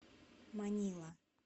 манила